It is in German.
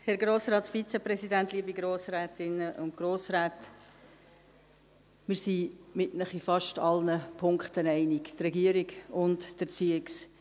Wir – die Regierung und die ERZ – sind in fast allen Punkten mit Ihnen einig.